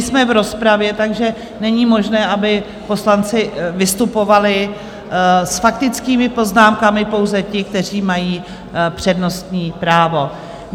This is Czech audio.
Nejsme v rozpravě, takže není možné, aby poslanci vystupovali s faktickými poznámkami, pouze ti, kteří mají přednostní právo.